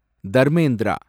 Dharmendra